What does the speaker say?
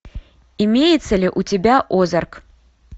имеется ли у тебя озарк